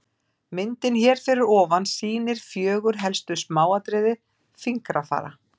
Myndin hér fyrir ofan sýnir fjögur helstu smáatriði fingrafara.